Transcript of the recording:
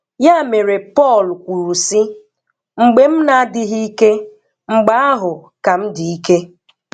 Ya mere Pọl kwuru sị, "Mgbe m na-adịghị ike, mgbe ahụ ka m dị ike."